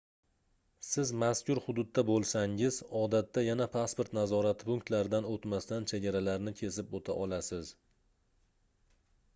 siz mazkur hududda boʻlsangiz odatda yana pasport nazorati punktlaridan oʻtmasdan chegaralarni kesib oʻta olasiz